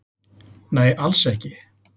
Nei, alls ekki